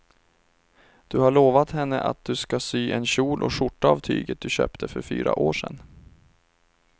Du har lovat henne att du ska sy en kjol och skjorta av tyget du köpte för fyra år sedan.